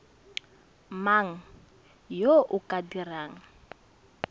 mang yo o ka dirang